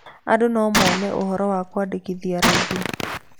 Andũ no mone ũhoro wa kũĩandĩkithia raithi.